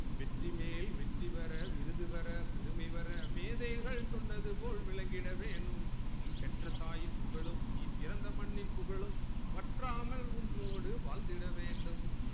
வெற்றிமேல் வெற்றிபெற விருது பெற பெருமை வர மேதைகள் சொன்னது போல் விலங்கிட வேணும் பெற்ற தாயும் புகழும் நீ பிறந்த மண்ணின் புகழும் வற்றாமல் உன்னோடு வாழ்ந்திட வேண்டும்